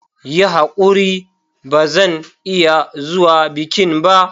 Yi hakuri ba zan iya zuwa bikin ba.